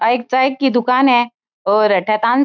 आ एक चाय की दुकान है और अठे तान --